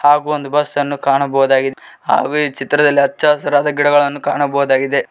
ಹಾಗು ಒಂದು ಬಸ್ ಅನ್ನು ಕಾಣಬಹುದಾಗಿ ಹಾಗೂ ಈ ಚಿತ್ರದಲ್ಲಿ ಅಚ್ಚ ಹಸಿರಾದ ಗಿಡಗಳನ್ನು ಕಾಣಬಹುದಾಗಿದೆ.